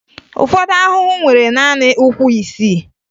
Ụfọdụ ahụhụ nwere naanị ụkwụ isii